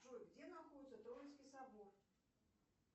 джой где находится троицкий собор